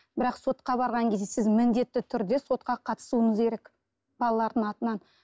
бірақ сотқа барған кезде сіз міндетті түрде сотқа қатысуыңыз керек балалардың атынан